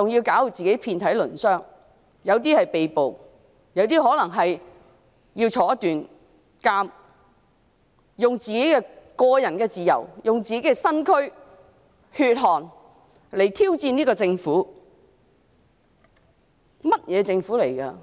還要把自己弄至遍體鱗傷，有些人可能會被捕，有些人可能要坐牢，他們以自己的個人自由、身軀和血汗來挑戰這個政府，這究竟是一個怎樣的政府？